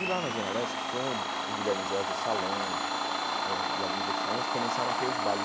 E lá na Zona Leste, com o Gui o Guilherme Jorge, o Salão eh e alguns outros salões, começaram a ter os bailes.